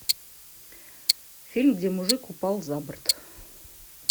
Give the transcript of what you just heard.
фильм где мужик упал за борт